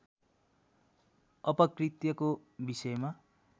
अपकृत्यको विषयमा